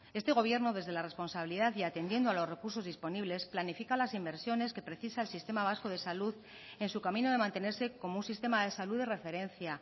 este gobierno desde la responsabilidad y atendiendo a los recursos disponibles planifica las inversiones que precisa el sistema vasco de salud en su camino de mantenerse como un sistema de salud de referencia